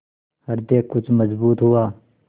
हृदय कुछ मजबूत हुआ